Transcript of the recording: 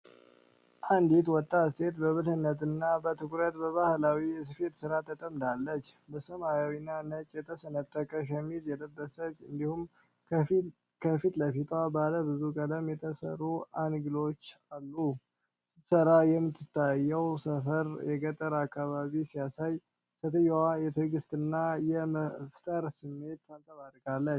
አንዲት ወጣት ሴት በብልህነትና በትኩረት በባህላዊ የስፌት ሥራ ተጠምዳለች። በሰማያዊና ነጭ የተሰነጠቀ ሸሚዝ የለበሰች እንዲሁም ከፊት ለፊቷ ባለ ብዙ ቀለም የተሠሩ አገልግሎች አሉ። ስትሠራ የምትታየው ስፍራ የገጠር አካባቢን ሲያሳይ፣ ሴትየዋም የትግስትና የመፍጠር ስሜት ታንጸባርቃለች።